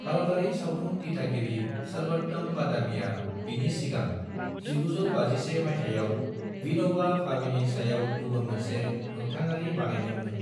भारतारि सावथुन दिथागिरि सर्वोत्तम बादामीआ बिनि सिगां 1951 मायथाइयाव विनोबा भावेनि सायाव गुबुन मोनसे मोखथाङारि बनायदों मोन।